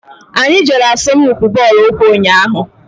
Anyị jere asọmpi bọọlụ ụkwụ ụnyaahụ.